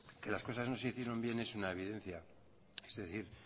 que las cosas no se hicieron bien es una evidencia es decir